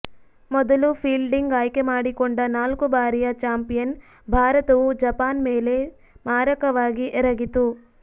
ಮೊದಲು ಫೀಲ್ಡಿಂಗ್ ಆಯ್ಕೆ ಮಾಡಿಕೊಂಡ ನಾಲ್ಕು ಬಾರಿಯ ಚಾಂಪಿಯನ್ ಭಾರತವು ಜಪಾನ್ ಮೇಲೆ ಮಾರಕವಾಗಿ ಎರಗಿತು